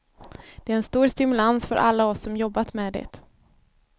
Det är en stor stimulans för alla oss som jobbat med det.